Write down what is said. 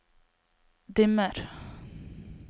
dimmer